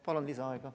Palun lisaaega!